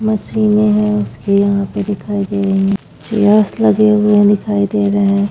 Machine है उसकी यहां पे दिखाई दे रही है सरस लगे हुए हैं दिखाई दे रहे हैं।